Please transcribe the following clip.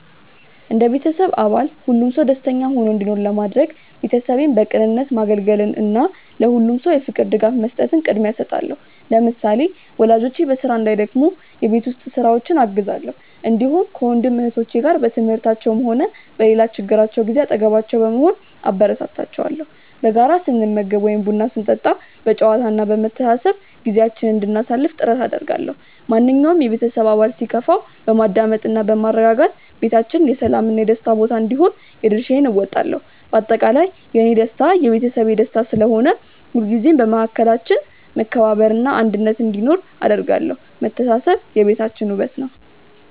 እንደ ቤተሰብ አባል ሁሉም ሰው ደስተኛ ሆኖ እንዲኖር ለማድረግ፣ ቤተሰቤን በቅንነት ማገልገልን እና ለሁሉም ሰው የፍቅር ድጋፍ መስጠትን ቅድሚያ እሰጣለሁ። ለምሳሌ፣ ወላጆቼ በስራ እንዳይደክሙ የቤት ውስጥ ስራዎችን አግዛለሁ፣ እንዲሁም ከወንድም እህቶቼ ጋር በትምህርታቸውም ሆነ በሌላ ችግራቸው ጊዜ አጠገባቸው በመሆን አበረታታቸዋለሁ። በጋራ ስንመገብ ወይም ቡና ስንጠጣ በጨዋታ እና በመተሳሰብ ጊዜያችንን እንድናሳልፍ ጥረት አደርጋለሁ። ማንኛውም የቤተሰብ አባል ሲከፋው በማዳመጥ እና በማረጋጋት ቤታችን የሰላም እና የደስታ ቦታ እንዲሆን የድርሻዬን እወጣለሁ። በአጠቃላይ፣ የእኔ ደስታ የቤተሰቤ ደስታ ስለሆነ፣ ሁልጊዜም በመካከላችን መከባበር እና አንድነት እንዲኖር አደርጋለሁ። መተሳሰብ የቤታችን ውበት ነው።